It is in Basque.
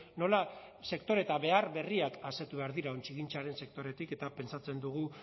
nola sektore eta behar berriak asetu behar dira ontzigintzaren sektoretik eta pentsatzen dugu